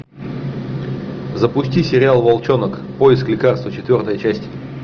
запусти сериал волчонок поиск лекарства четвертая часть